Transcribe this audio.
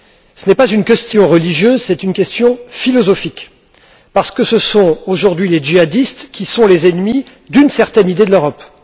Ce n'est pas une question religieuse, c'est une question philosophique, parce que ce sont aujourd'hui les djihadistes qui sont les ennemis d'une certaine idée de l'Europe.